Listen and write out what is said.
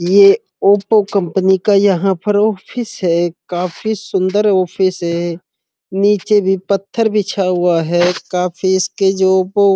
ये Oppo company का यहाँ पर ऑफिस है काफी सुन्दर ऑफिस है। नीचे भी पत्थर बिछा हुआ है काफी इसके जो वो --